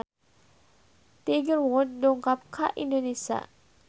Tiger Wood dongkap ka Indonesia